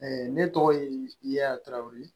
ne tɔgɔ ye yaya tarawele